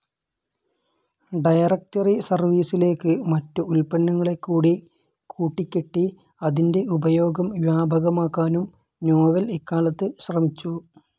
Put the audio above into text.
Directory സെർവീസിലേക്ക് മറ്റു ഉൽപ്പന്നങ്ങളെക്കൂടി കൂട്ടിക്കെട്ടി അതിന്റെ ഉപയോഗം വ്യാപകമാക്കാനും നോവെൽ ഇക്കാലത്ത് ശ്രമിച്ചു.